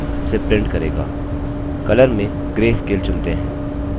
color में gray scale चुनते हैं